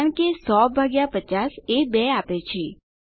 કારણ કે 100 ભાગ્યા 50 એ 2 આપે છે